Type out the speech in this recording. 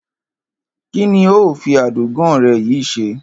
Kí ni o óò fi adògán re̩ yìí s̩e?